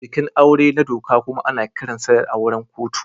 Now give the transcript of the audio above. Bikin aure na doka kuma ana kiransa da auren kotu.